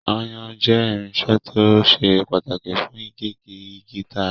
Ayùn jẹ́ irinṣẹ́ tó ṣe pàtàkì fún gígé igi tààrà